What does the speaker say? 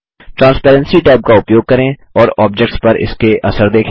transparency tab का उपयोग करें और ऑब्जेक्ट्स पर इसके असर देखें